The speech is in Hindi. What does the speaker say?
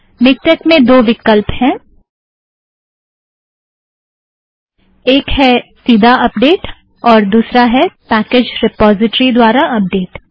मिक्टेक में दो विकल्प हैं - एक है सीधा अपडेट और दुसरा है पैकेज़ रिपोज़िट्रि द्वारा अपडेट